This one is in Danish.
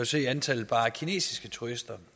se at antallet af bare kinesiske turister